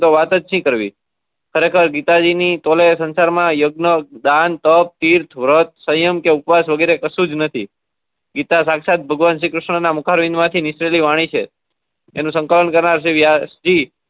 ખરેખર ગીતાજી ની તોલે સંસાર માં યજ્ઞ દાન તપ તીર્થ વ્રત સંયમ કે ઉપવાસ વગેરે કસુજ નથી ગીતા સાક્ષાત ભગવાન શ્રી ક્રિષ્ના ના મુખ માંથી નીકળેલી વાણી છે એનું સકલ્નકરનાર